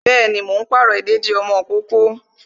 Bẹẹni, mo ń pàrọ̀ ìdèdí ọmọ ìkókó